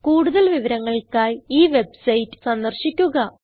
കൂടുതൽ വിവരങ്ങൾക്കായി ഈ വെബ്സൈറ്റ് സന്ദർശിക്കുക